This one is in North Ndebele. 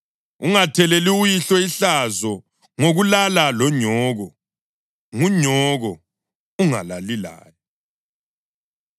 Ungatheleli uyihlo ihlazo ngokulala lonyoko. Ngunyoko; ungalali laye.